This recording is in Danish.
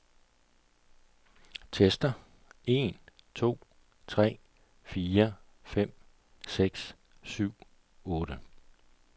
Tester en to tre fire fem seks syv otte.